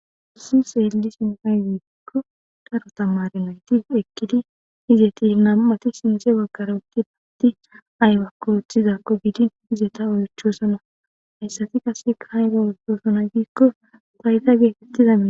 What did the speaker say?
Hayssan xeellishin aybe giikko daro tamaare nayti eqqidi izeti nam7ati sinthe baggara uttidi aybakko oothizakko gidin izeta oychoosona.hayssati qasseka ayba oothiyona giiko fayday beetiya